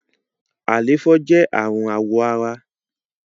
àléfọ jẹ arun awọ àrà